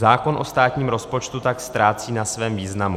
Zákon o státním rozpočtu tak ztrácí na svém významu.